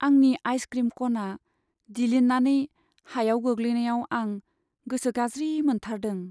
आंनि आइसक्रिम कनआ दिलिन्नानै हायाव गोग्लैनायाव आं गोसो गाज्रि मोनथारदों।